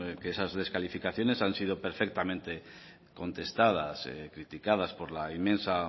que esas descalificaciones han sido perfectamente contestadas criticadas por la inmensa